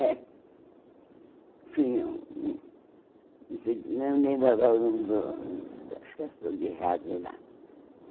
É. Tinha hum não sei Não lembrava do da estação de rádio lá.